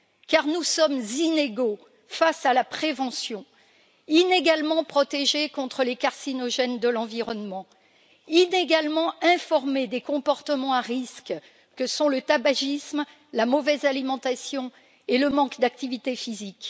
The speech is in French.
Car nous sommes inégaux face à la prévention, inégalement protégés contre les carcinogènes de l'environnement, inégalement informés des comportements à risque que sont le tabagisme, la mauvaise alimentation et le manque d'activité physique.